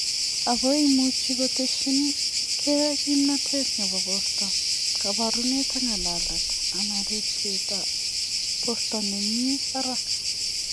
Ako imuchi koteshi kei kimnatet nebo borto ,kabarunet ak ngalalet ana ripset ab borto ne mii barak.